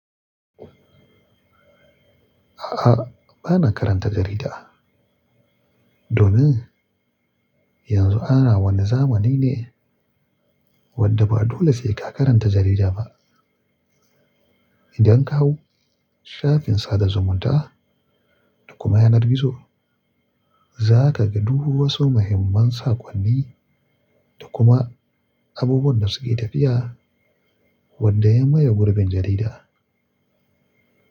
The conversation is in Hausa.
A'a, bana karanta jarida. Domin yanzu ana wani zamanai ne wadda ba dole sai ka karanta jarida ba. Idan ka hau shafin sada zumunta da kuma yanar gizo, za ka ga du wasu muhimman saƙonni da kuma abubuwan da suke tafiya wadda ya maye gurbin jarida.